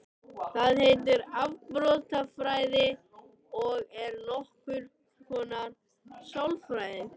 Það heitir afbrotafræði og er nokkurs konar sálfræði.